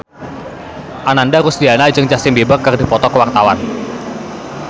Ananda Rusdiana jeung Justin Beiber keur dipoto ku wartawan